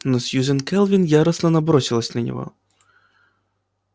но сьюзен кэлвин яростно набросилась на него